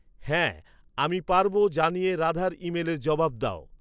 হ্যাঁ, আমি পারব জানিয়ে রাধার ইমেলের জবাব দাও